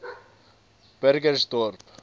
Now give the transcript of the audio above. burgersdorp